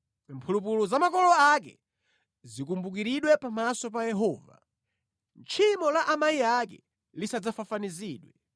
Mphulupulu za makolo ake zikumbukiridwe pamaso pa Yehova; tchimo la amayi ake lisadzafafanizidwe.